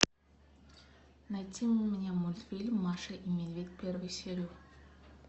найти мне мультфильм маша и медведь первую серию